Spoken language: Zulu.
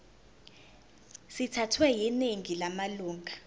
sithathwe yiningi lamalunga